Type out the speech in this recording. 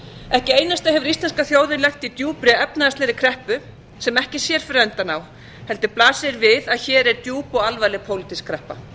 ekki einasta hefur íslenska þjóðin lent í djúpri efnahagslegri kreppu sem ekki sér fyrir endann á heldur blasir við að hér er djúp og alvarleg pólitísk kreppa